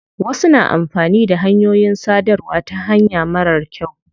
Wasu na amfani da hanyoyin sadarwa ta hanya marar kyau.